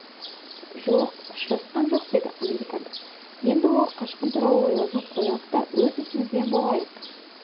жоқ ұшырасқам жоқ деді американдық енді ол қашқын туралы ойлауды қоялық та өз ісімізбен болайық